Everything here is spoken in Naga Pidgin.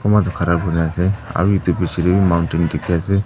kunba toh kari kuri asae aro etu pichi dae mountain di ki asae.